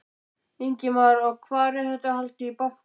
Ingimar: Og hvar, er þetta haldið í bankanum?